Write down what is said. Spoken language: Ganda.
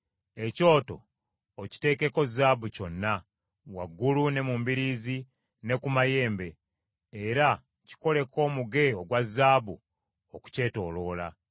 Ekyoto okiteekeko zaabu kyonna, waggulu ne mu mbiriizi, ne ku mayembe. Era kikolereko omuge ogwa zaabu okukyetooloola.